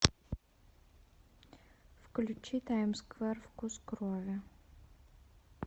включи таймсквер вкус крови